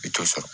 I t'o sɔrɔ